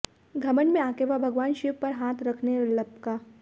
घमंड में आकर वह भगवान शिव पर हाथ रखने लपका